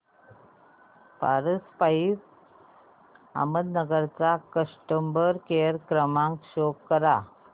Paras pipes Ahmednagar चा customer care क्रमांक show करा